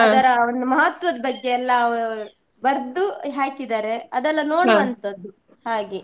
ಒಂದು ಮಹತ್ವದ್ ಬಗ್ಗೆ ಎಲ್ಲ ಬರ್ದು ಹಾಕಿದ್ದಾರೆ ಅದ್ದೆಲ್ಲಾ ಹಾಗೆ.